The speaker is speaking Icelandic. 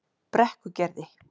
Brekkugerði